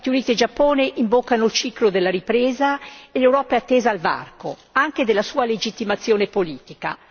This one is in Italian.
Stati Uniti e Giappone invocano il ciclo della ripresa e l'Europa è attesa al varco, anche della sua legittimazione politica.